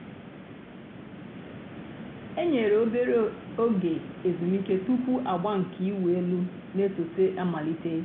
e nyèrè òbèrè ògè èzùmìké túpù àgbà nke ị̀wụ̀ èlù nà-èsọ̀té àmàlítè.